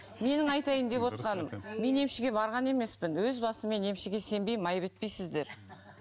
менің айтайын деп отырғаным мен емшіге барған емеспін өз басым мен емшіге сенбеймін айып етпейсіздер